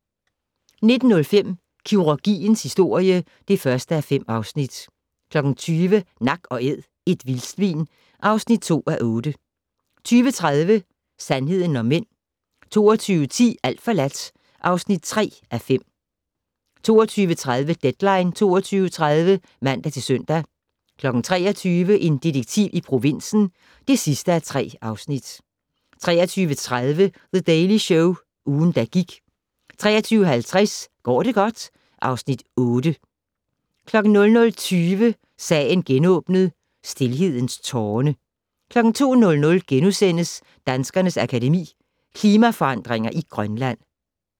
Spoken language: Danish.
19:05: Kirurgiens historie (1:5) 20:00: Nak & Æd - et vildsvin (2:8) 20:30: Sandheden om mænd 22:10: Alt forladt (3:5) 22:30: Deadline 22.30 (man-søn) 23:00: En detektiv i provinsen (3:3) 23:30: The Daily Show - ugen, der gik 23:50: Går det godt? (Afs. 8) 00:20: Sagen genåbnet: Stilhedens tårne 02:00: Danskernes Akademi: Klimaforandringer i Grønland *